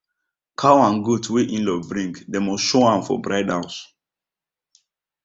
cow and goat wey inlaw bring dem must show am for bride house